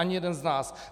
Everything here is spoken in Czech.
Ani jeden z nás.